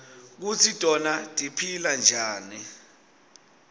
kutsi tona tiphila njani